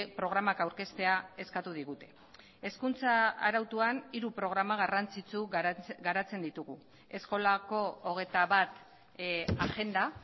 programak aurkeztea eskatu digute hezkuntza arautuan hiru programa garrantzitsu garatzen ditugu eskolako hogeita batagenda